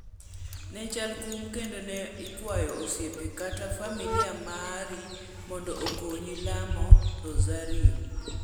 Ne chal kum kendo ne ikwayo osiepe kata familia mari mondo okonyi lamo rosario.